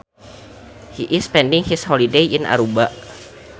He is spending his holiday in Aruba